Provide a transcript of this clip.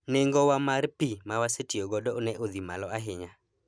nengo wa mar pii mawasetiyo godo ne odhi malo ahinya